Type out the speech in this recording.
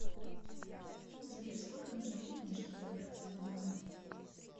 сбер сколько нужно времени чтобы добраться до банкомата